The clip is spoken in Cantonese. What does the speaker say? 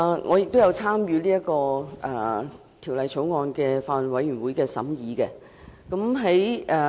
我亦有參與這項《條例草案》的法案委員會的審議工作。